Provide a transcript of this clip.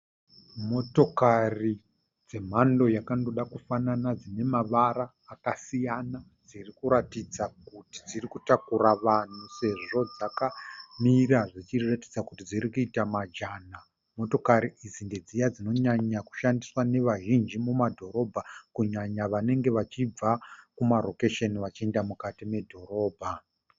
Moto dzemhando yakandoda kufanana dzine mavara akasiyana dziri kuratidza kuti dziri kutakura vanhu sezvo dzakamira zvichiratidza kuti dziri kuita majana. Motokari idzi ndedziya dzinonyakushandiswa nevazhinji mumadhorobha kunyanya vanenge vachibva kumarokesheni vachienda mukati medhorobha.